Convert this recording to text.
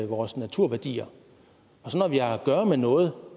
vores naturværdier og når vi har at gøre med noget